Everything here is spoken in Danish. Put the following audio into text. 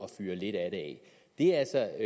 fyre lidt af det af det er altså